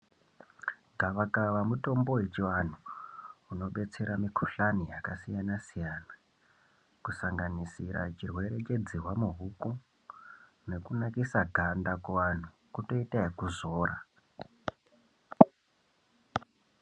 Gavakava mutombo wechivanhu unobetsera mikhuhlani yakasiyana -siyana kusanganisira chirwere chedzihwa muhuku nekunakisa ganda Kuvanhu, kutoita ekuzora.